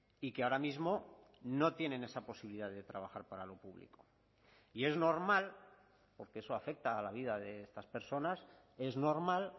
y que ahora mismo no tienen esa posibilidad de trabajar para lo público y es normal porque eso afecta a la vida de estas personas es normal